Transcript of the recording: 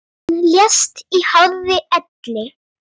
Hún lést í hárri elli.